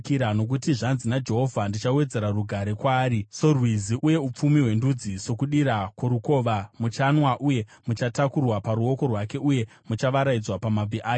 Nokuti zvanzi naJehovha: “Ndichawedzera rugare kwaari sorwizi, uye upfumi hwendudzi sokudira kworukova; muchayamwa uye muchatakurwa paruoko rwake, uye muchavaraidzwa pamabvi ake.